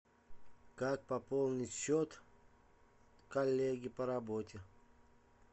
как пополнить счет коллеге по работе